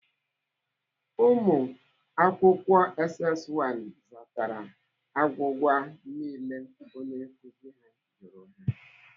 Umuakwukwo SS 1 zatara agwụgwa niile onye nkuzi ha jụrụ ha.